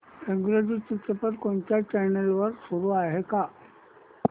इंग्रजी चित्रपट कोणत्या चॅनल वर चालू आहे का